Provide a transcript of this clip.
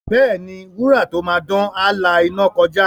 Bẹ́ẹ̀ni, wúrà tó máa dán, á la iná kọjá.